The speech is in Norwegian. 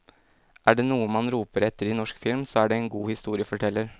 Er det noe man roper etter i norsk film, så er det en god historieforteller.